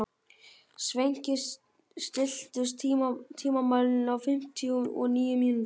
Sveinki, stilltu tímamælinn á fimmtíu og níu mínútur.